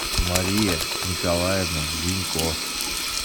мария николаевна зинько